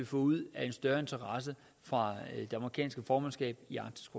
få ud af en større interesse fra det amerikanske formandskab i arktisk